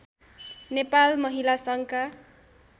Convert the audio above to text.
नेपाल महिला सङ्घका